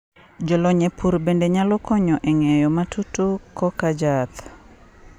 jolony e pur bende nyalo konyo e ng'eyo matutu koka jaath